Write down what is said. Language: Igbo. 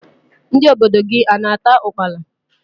Ndị obodo gị a na-ata ukpala?